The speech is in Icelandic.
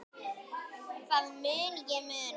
Það mun ég muna.